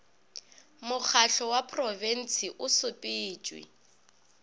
mokgatlo wa porofensi o sepetšwe